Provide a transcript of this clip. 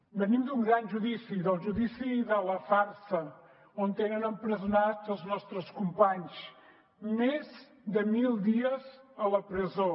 venim d’un gran judici del judici de la farsa on tenen empresonats els nostres companys més de mil dies a la presó